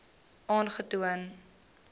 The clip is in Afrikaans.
aangetoon